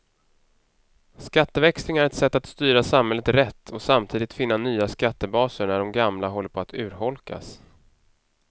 Skatteväxling är ett sätt att styra samhället rätt och samtidigt finna nya skattebaser när de gamla håller på att urholkas.